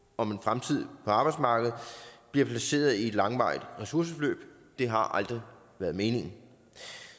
om en fremtid på arbejdsmarkedet bliver placeret i et langvarigt ressourceforløb det har aldrig været meningen